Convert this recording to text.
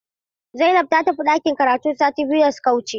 Zainab ta tafi ɗakin karatu sati biyu da suka wuce.